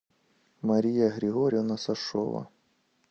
мария григорьевна сашова